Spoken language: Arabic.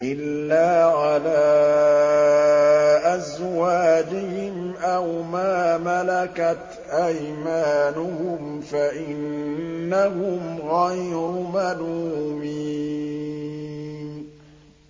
إِلَّا عَلَىٰ أَزْوَاجِهِمْ أَوْ مَا مَلَكَتْ أَيْمَانُهُمْ فَإِنَّهُمْ غَيْرُ مَلُومِينَ